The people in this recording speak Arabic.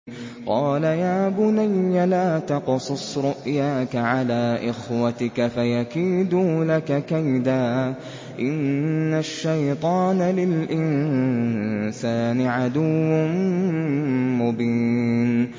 قَالَ يَا بُنَيَّ لَا تَقْصُصْ رُؤْيَاكَ عَلَىٰ إِخْوَتِكَ فَيَكِيدُوا لَكَ كَيْدًا ۖ إِنَّ الشَّيْطَانَ لِلْإِنسَانِ عَدُوٌّ مُّبِينٌ